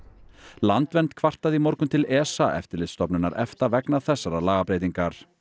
landvernd kvartaði í morgun til ESA eftirlitsstofnunar EFTA vegna þessarar lagabreytingar